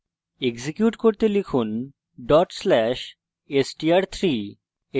execute করতে লিখুন dot slash str3